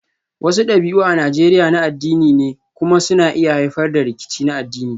Wasu dabi'u a Najeriya na addini ne kuma suna iya haifar da rikici na addini